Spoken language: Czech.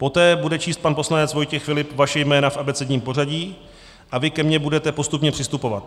Poté bude číst pan poslanec Vojtěch Filip vaše jména v abecedním pořadí a vy ke mně budete postupně přistupovat.